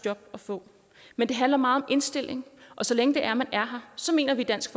job at få men det handler meget om indstilling og så længe det er man er her så mener vi i dansk